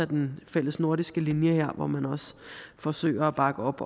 den fælles nordiske linje her hvor man også forsøger at bakke op